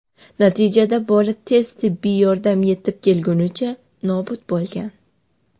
Natijada bola tez tibbiy yordam yetib kelgunicha nobud bo‘lgan.